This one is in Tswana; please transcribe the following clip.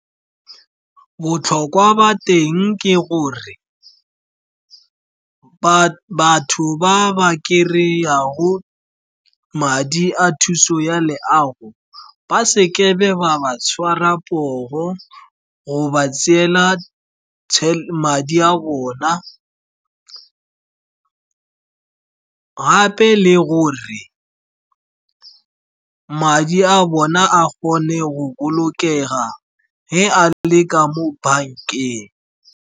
Botlhokwa ba teng ke gore batho ba ba kry-ago madi a thuso ya leago, ba se kebe ba ba tshwara poo, go ba tseela madi a bona, gape le gore madi a bona a kgone go bolokega ge a le ka mo bankeng.